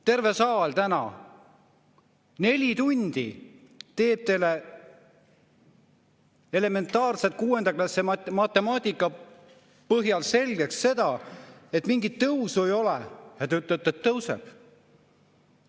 Terve saal täna neli tundi teeb teile elementaarse kuuenda klassi matemaatika põhjal selgeks seda, et mingit tõusu ei ole, ja te ütlete, et tõuseb.